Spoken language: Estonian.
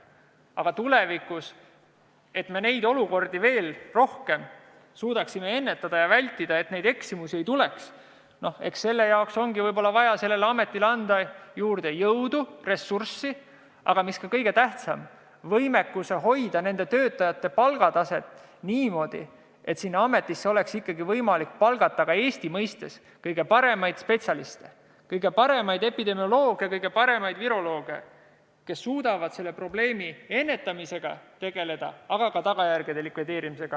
Aga selleks, et suudaksime tulevikus neid olukordi paremini ennetada ja vältida – et eksimusi ei tuleks –, ongi võib-olla vaja sellele ametile anda juurde jõudu ja ressurssi ning, mis kõige tähtsam, tagada nende võimekus hoida oma töötajate palgatase sellisena, et sinna oleks võimalik palgata Eesti mõistes kõige paremaid spetsialiste – kõige paremaid epidemiolooge ja virolooge, kes suudaksid tegeleda selle probleemi ennetamise ja ka tagajärgede likvideerimisega.